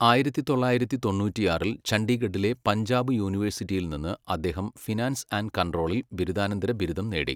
ആയിരത്തി തൊള്ളായിരത്തി തൊണ്ണൂറ്റിയാറിൽ ചണ്ഡീഗഢിലെ പഞ്ചാബ് യൂണിവേഴ്സിറ്റിയിൽനിന്ന് അദ്ദേഹം ഫിനാൻസ് ആൻഡ് കൺട്രോളിൽ ബിരുദാനന്തര ബിരുദം നേടി.